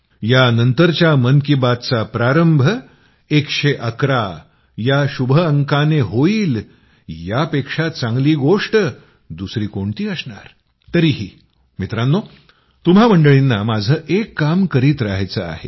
यानंतरच्या मन की बातचा प्रारंभ 111 या शुभ अंकानं होईल यापेक्षा चांगली गोष्ट दुसरी कोणती असणार तरीही मित्रांनो तुम्हा मंडळींना माझं एक काम करीत रहायचं आहे